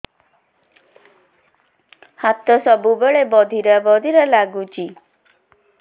ହାତ ସବୁବେଳେ ବଧିରା ବଧିରା ଲାଗୁଚି